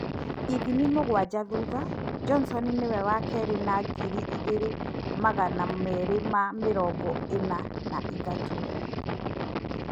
Ithimi mũgwanja thutha, Johnson nĩwe wa keerĩ na ngiri igĩrì magana meerĩ ma mĩrongo ĩna na ithatũ